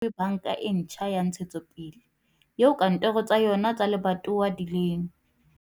Haesale ho ne ho thehwe Banka e Ntjha ya Ntshe tsopele, eo kantoro tsa yona tsa lebatowa di leng